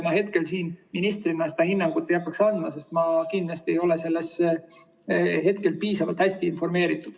Ma hetkel siin ministrina seda hinnangut ei hakkaks andma, sest ma kindlasti ei ole piisavalt hästi informeeritud.